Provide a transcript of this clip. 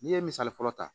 N'i ye misali fɔlɔ ta